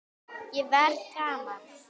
Ég er að verða gamall.